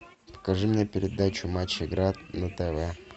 покажи мне передачу матч игра на тв